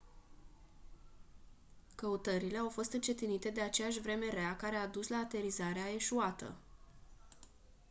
căutările au fost încetinite de aceeași vreme rea care a dus la aterizarea eșuată